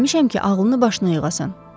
Gəlmişəm ki, ağlını başına yığasan.